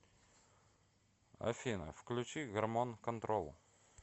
афина включи гормон контрол